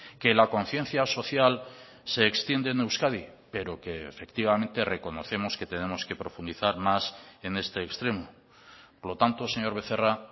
que la conciencia social se extiende en euskadi pero que efectivamente reconocemos que tenemos que profundizar más en este extremo por lo tanto señor becerra